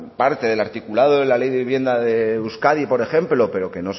parte del articulado de la ley de vivienda de euskadi por ejemplo pero que